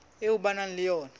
eo ba nang le yona